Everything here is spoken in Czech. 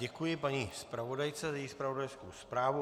Děkuji paní zpravodajce za její zpravodajskou zprávu.